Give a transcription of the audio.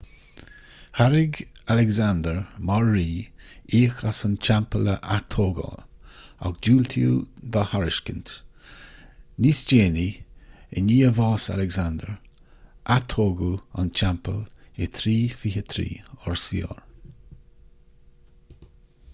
thairg alexander mar rí íoc as an teampall a atógáil ach diúltaíodh dá thairiscint níos déanaí i ndiaidh bhás alexander atógadh an teampall in 323 rcr